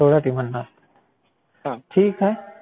सोळा टीमांना. ठीक आहे.